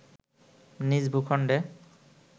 নিজ ভূখণ্ডে